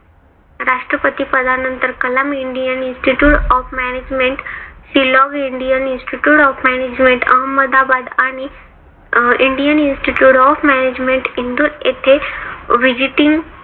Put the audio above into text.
राष्ट्रपती पदानंतर Kalam indian institute of management Shillong indian institute of management Ahmedabad आणि indian institute of management Indore येथे visiting